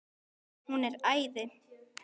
Hún er æði.